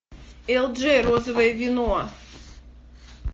элджей розовое вино